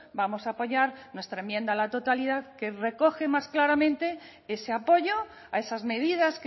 vamos a apoyar nuestra enmienda a la totalidad que recoge más claramente ese apoyo a esas medidas